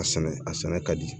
A sɛnɛ a sɛnɛ ka di